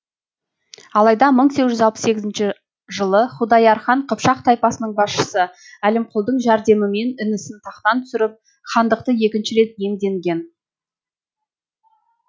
алайда мың сегіз жүз алпыс сегізінші жылы худаяр хан қыпшақ тайпасының басшысы әлімқұлдың жәрдемімен інісін тақтан түсіріп хандықты екінші рет иемденген